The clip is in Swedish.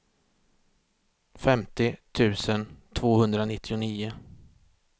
femtio tusen tvåhundranittionio